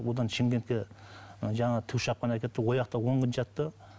одан шымкентке жаңағы тікұшақпен әкетті он күн жатты